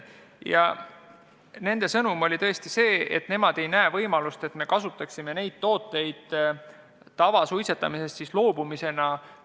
Ja nende sõnum oli tõesti see, et nemad ei näe võimalust, et me käsitleksime neid tooteid kui tavasuitsetamisest loobumise abivahendeid.